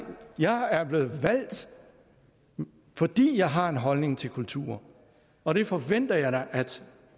jeg er blevet valgt fordi jeg har en holdning til kulturen og det forventer jeg da at